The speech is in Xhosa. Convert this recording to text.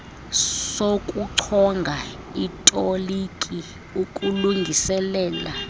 sokuchonga itoliki ukulungiselela